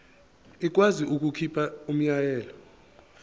ikwazi ukukhipha umyalelo